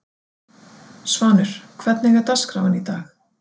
Svanur, hvernig er dagskráin í dag?